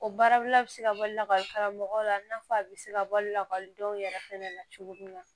O baarabila bɛ se ka bɔ lakɔli karamɔgɔw la i n'a fɔ a bɛ se ka bɔ lakɔlidenw yɛrɛ fɛnɛ na cogo min na